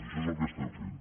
això és el que estem fent